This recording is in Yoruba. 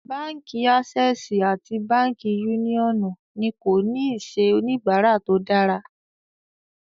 Bánkì Assè̀sì àti Bánkì Uniọnu ní kò ní iṣẹ̀ onibàrà tó dára.